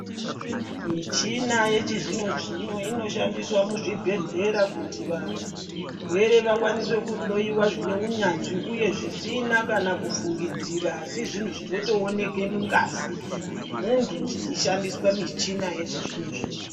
Michina yechizvino-zvino inoshandiswa muzvibhehlera kuti varwere vakwanise kuhloyiwa zvine unyanzvi uye zvisina kana kufungidzira asi zvinhu zvinotooneke mungazi yemuntu zvichishandiswa michina yechizvino-zvino.